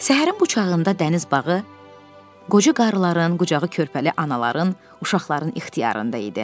Səhərin bu çağında dəniz bağı qoca qarıların, qucağı körpəli anaların, uşaqların ixtiyarındə idi.